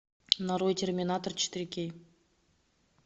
нарой терминатор четыре кей